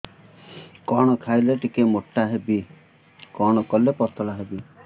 କଣ ଖାଇଲେ ଟିକେ ମୁଟା ହେବି କଣ କଲେ ପତଳା ହେବି